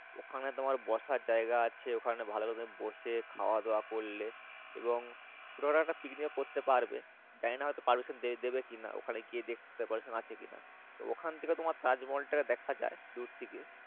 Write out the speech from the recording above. ওখানে তোমার বসার যাইগা আছে ওখানে ভালো ভাবে বসে খাওয়া দাওয়া করলে এবং সেখানে একটা Picnic ও করতে পারবে জানি না হয়তো Permission দেবে কিনা ওখানে গিয়ে দেকতে হবে Permission আছে কি না তো ওখান থেকে তোমার তাজমহলটা দেখা যাই দুর থেকে।